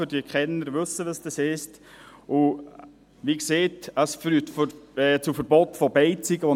Die Kenner wissen, was das heisst, und wie gesagt, es führt zu Verboten von Beizen.